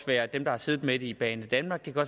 være dem der har siddet med det i banedanmark og